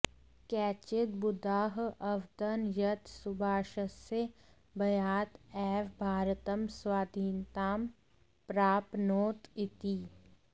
केचित् बुधाः अवदन् यत् सुभाषस्य भयात् एव भारतं स्वाधीनतां प्राप्नोत् इति